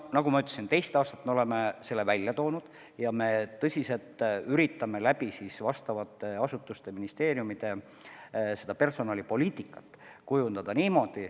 Nagu ma ütlesin, me teist aastat oleme selle teema välja toonud ja me tõsiselt üritame ministeeriumide ja muude asutuste abil personalipoliitikat veidi kujundada.